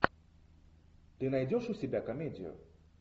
ты найдешь у себя комедию